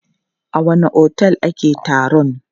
A wanne otel ake taron?